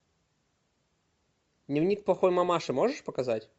дневник плохой мамаши можешь показать